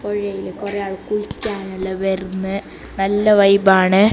പുഴയിൽ കുറെ ആൾ കുളിക്കാനെല്ലാം വര്ന്ന് നല്ല വൈബ് ആണ്.